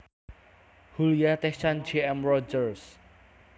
Hulya Tezcan J M Rogers